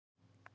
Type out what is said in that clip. Hvað er ást?